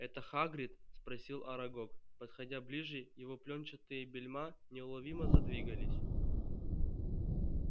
это хагрид спросил арагог подходя ближе его плёнчатые бельма неуловимо задвигались